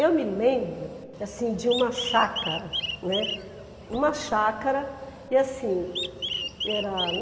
Eu me lembro, assim, de uma chácara, né. Uma chácara e assim, era